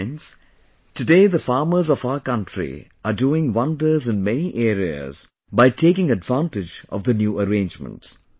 Friends, today the farmers of our country are doing wonders in many areas by taking advantage of the new arrangements